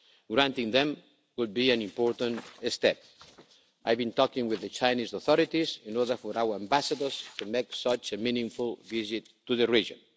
Granting them would be an important step. I've been talking with the Chinese authorities in order for our ambassadors to make such a meaningful visit to the region.